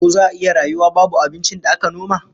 Ko za'a iya rayuwa babu abincin da aka noma?